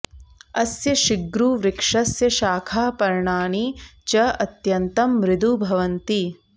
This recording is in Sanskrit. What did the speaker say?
अस्य शिग्रुवृक्षस्य शाखाः पर्णानि च अत्यन्तं मृदु भवन्ति